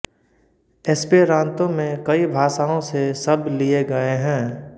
Esperanto में कई भाषाओं से शब्द लिये गये हैं